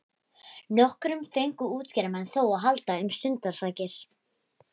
Nokkrum fengu útgerðarmenn þó að halda um stundarsakir.